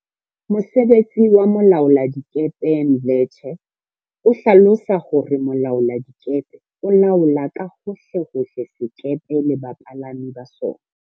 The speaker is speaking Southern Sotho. Mosebetsi wa molaoladikepe Mdletshe o hlalosa hore Mo laoladikepe o laola ka hohle hohle sekepe le bapalami ba sona.